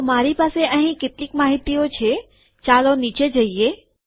તો મારી પાસે અહીં કેટલીક માહિતીઓ છે ચાલો નીચે જઈએ